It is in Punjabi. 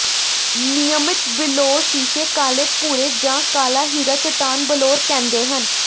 ਨਿਯਮਿਤ ਬਿਲੌਰ ਸ਼ੀਸ਼ੇ ਕਾਲੇ ਭੂਰੇ ਜ ਕਾਲਾ ਹੀਰਾ ਚੱਟਾਨ ਬਲੌਰ ਕਹਿੰਦੇ ਹਨ